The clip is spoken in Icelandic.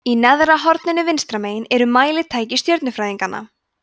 í neðra horninu vinstra megin eru mælitæki stjörnufræðinganna